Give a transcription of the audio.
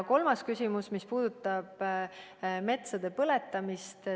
Kolmas küsimus puudutas metsade põletamist.